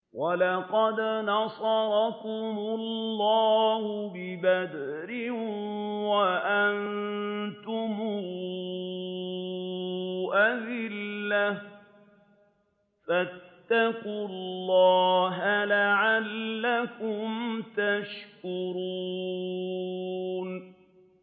وَلَقَدْ نَصَرَكُمُ اللَّهُ بِبَدْرٍ وَأَنتُمْ أَذِلَّةٌ ۖ فَاتَّقُوا اللَّهَ لَعَلَّكُمْ تَشْكُرُونَ